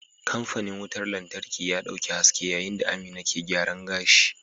Kamfanin wutar lantarki ya dauki haske yayin da Amina ke gyaran gashi.